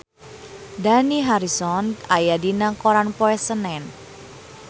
Dani Harrison aya dina koran poe Senen